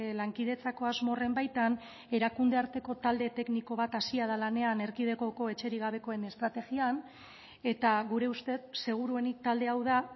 lankidetzako asmo horren baitan erakunde arteko talde tekniko bat hasia da lanean erkidegoko etxerik gabekoen estrategian eta gure ustez seguruenik talde hau da